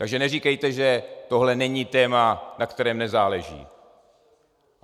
Takže neříkejte, že tohle není téma, na kterém nezáleží.